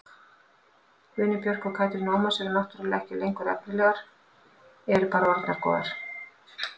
Guðný Björk og Katrín Ómars eru náttúrulega ekki lengur efnilegar, eru bara orðnar góðar.